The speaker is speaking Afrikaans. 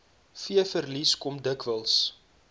veeverliese kom dikwels